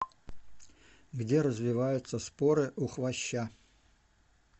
где развиваются споры у хвоща